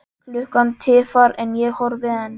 Klukkan tifar en ég horfi enn.